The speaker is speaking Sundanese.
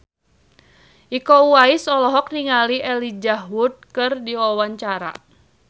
Iko Uwais olohok ningali Elijah Wood keur diwawancara